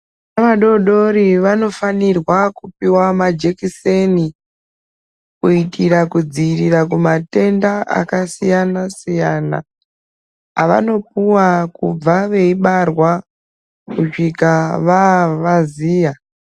Ana adodori vanofanirwa kupuwa majekiseni kuitira kudziirira kumatenda akasiyana siyana avanopuwa kubva veibarwa kusvika vavaziya .